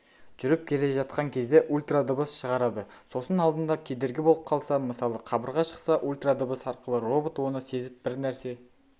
жүріп келе жатқан кезде ультрадыбыс шығарады сосын алдында кедергі болып қалса мысалы қабырға шықса ультрадыбыс арқылы робот оны сезіп бір нәрсе